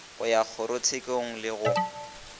go ya kgorotshekong le go